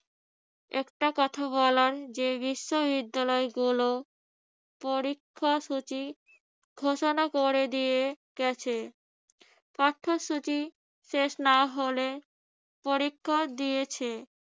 একটা কথা বলার যে বিশ্ববিদ্যালয়গুলো পরীক্ষাসূচি ঘোষণা করে দিয়ে গেছে। পাঠ্যসূচি শেষ না হলে পরীক্ষা দিয়েছে